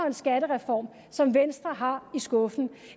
en skattereform som venstre har i skuffen